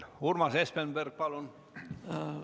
Urmas Espenberg, palun!